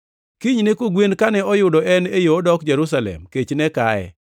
Kinyne kogwen kane oyudo en e yo odok Jerusalem, kech ne kaye.